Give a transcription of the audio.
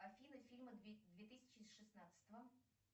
афина фильмы две тысячи шестнадцатого